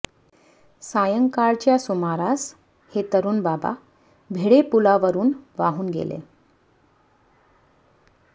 सायंकाळच्या सुमारास हे तरुण बाबा भिडे पूलावरून वाहून गेले